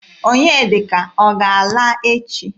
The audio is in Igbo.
Onyedika ọ ga-ala echi?